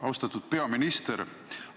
Austatud peaminister!